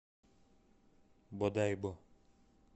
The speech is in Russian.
бодайбо